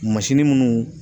Mansini munnu